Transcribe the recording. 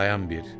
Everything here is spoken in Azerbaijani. Dayan bir.